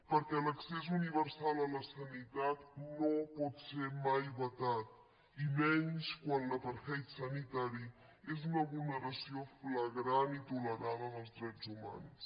perquè l’accés universal a la sanitat no pot ser mai vetat i menys quan l’apartheid sanitari és una vulneració flagrant i tolerada dels drets humans